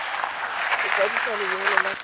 go kwadisa lenyalo la setso